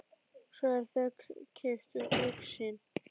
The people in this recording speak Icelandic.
Svo er þeim kippt úr augsýn.